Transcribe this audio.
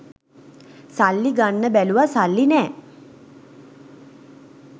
සල්ලි ගන්න බැලුව සල්ලි නෑ